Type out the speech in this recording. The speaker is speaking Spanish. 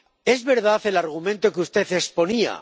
Es verdad el argumento que usted exponía.